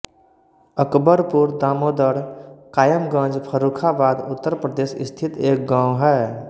अकबरपुर दामोदर कायमगंज फर्रुखाबाद उत्तर प्रदेश स्थित एक गाँव है